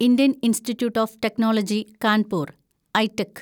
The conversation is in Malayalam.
Indian Institute of Technology Kanpur (ഐറ്റ്ക്)